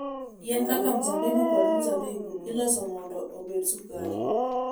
Yien kaka mzabibu kod mzabibu iloso mondo obed sukari.